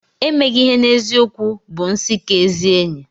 Emeghị ihe n'eziokwu bụ nsị nke ezi enyi.